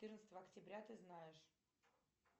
четырнадцатого октября ты знаешь